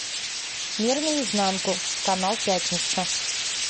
мир наизнанку канал пятница